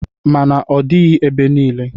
Ma n'ọdịghị ebe niile.